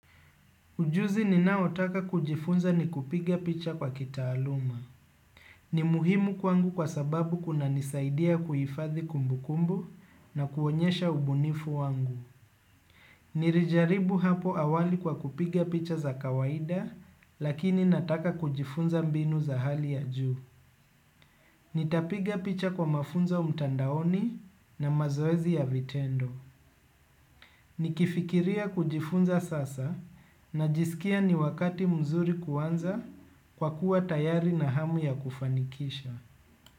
Ujuzi ninaotaka kujifunza ni kupiga picha kwa kitaaluma. Ni muhimu kwangu kwa sababu kunanisaidia kuhifadhi kumbukumbu na kuonyesha ubunifu wangu. Nilijaribu hapo awali kwa kupiga picha za kawaida lakini nataka kujifunza mbinu za hali ya juu. Nitapiga picha kwa mafunzo mtandaoni na mazoezi ya vitendo. Nikifikiria kujifunza sasa najisikia ni wakati mzuri kuanza kwa kuwa tayari na hamu ya kufanikisha.